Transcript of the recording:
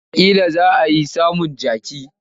Watakila za a iya samun jaki.